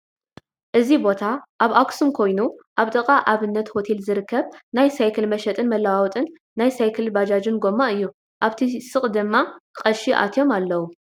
እዚ ቦታ ኣብ ኣክሱም ኮይኑ ኣብ ጥቃ ኣብንት ሆቴል ዝርከብ ናይ ሳይክል መሸጢን መለዋወጢ ናይ ሳይክልን ባጃጅን ጎማ እዩ ኣብቲ ስቅ ድማ ቀሺ ኣትዮም ኣልዉ ።